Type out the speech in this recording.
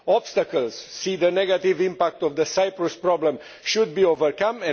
obstacles see the negative impact of the Cyprus problem should be overcome